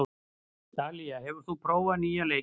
Dalía, hefur þú prófað nýja leikinn?